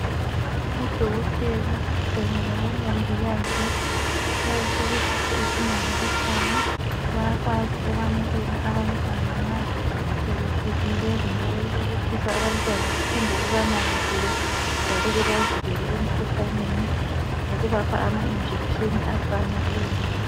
Odokotela kanye labomongikazi bayisibusiso esimangalisiyo. Bayakwazi ukwemukela abantwana nxa sebefikile kumbe ukubelethisa abantwana bephinde bebanakekele njalo bebavikele emkhuhlaneni ngokubapha ama injekitsheni afaneleyo.